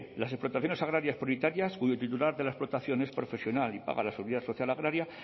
las explotaciones agrarias prioritarias cuyo titular de la explotación es profesional y paga la seguridad social agraria